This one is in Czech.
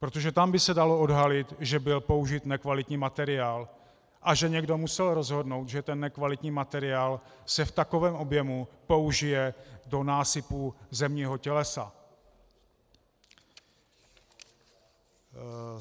Protože tam by se dalo odhalit, že byl použit nekvalitní materiál a že někdo musel rozhodnout, že ten nekvalitní materiál se v takovém objemu použije do násypu zemního tělesa.